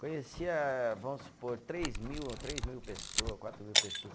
Conhecia, vamos supor, três mil, três mil pessoa, quatro mil pessoa.